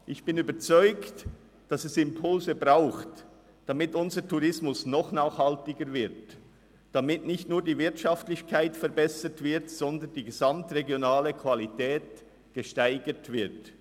Ich bin überzeugt, dass es Impulse braucht, damit unser Tourismus noch nachhaltiger wird, damit nicht nur die Wirtschaftlichkeit verbessert, sondern die gesamtregionale Qualität gesteigert wird.